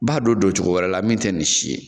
B'a don don cogo wɛrɛ la min tɛ nin si ye